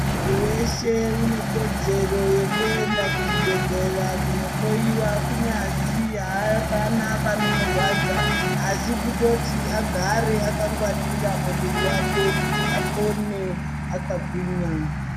Munthu weshe une kodzero yekuenda kuchibhedhlera kunohloyiwa kunyazi haapana panomurwadza asi kutoti agare akangwaririra muviri wake kuti apone akagwinya.